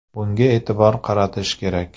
Bunga e’tibor qaratish kerak.